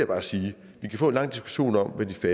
bare sige vi kan få en lang diskussion om hvad det